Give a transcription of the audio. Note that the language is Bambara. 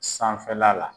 Sanfɛla la